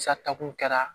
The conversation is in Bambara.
Sata kun kɛra